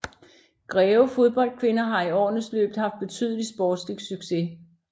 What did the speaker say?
Greve Fodbold Kvinder har i årenes løb haft betydelig sportslig success